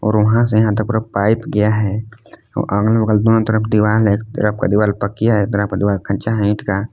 वहां से यहां तक पूरा पाइप गया है और अगल बगल दोनो तरफ दीवाल है एक तरफ का दीवाल पकिया है एक तरफ का दीवाल कच्चा है ईंट का--